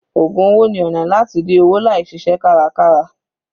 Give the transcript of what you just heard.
Ògùn owó ni ọ̀nà láti rí owó láì ṣiṣẹ́ kárakára.